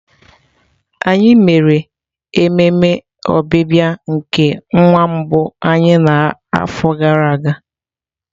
Anyị mere ememe ọbịbịa nke nwa mbụ anyị n'afọ gara aga.